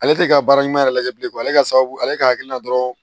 Ale tɛ ka baara ɲuman yɛrɛ lajɛ bilen ale ka sababu ale ka hakilina dɔrɔnw